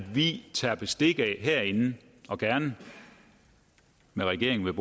vi tager bestik af og gerne med regeringen